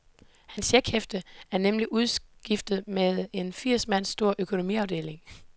Hans checkhæfte er nemlig udskiftet med en firs mand stor økonomiafdeling.